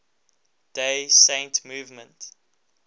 day saint movement